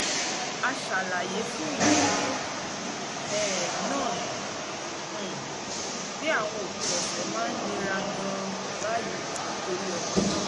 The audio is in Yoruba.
a ṣàlàyé fún ìdílé um náà um pé àwọn òpin ọ̀sẹ̀ máa ń nira gan-an báyìí nítorí ọmọ náà